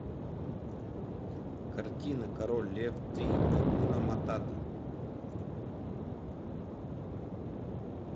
картина король лев три акуна матата